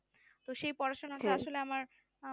তো সেই পড়াশোনাটা আসলে আমার উম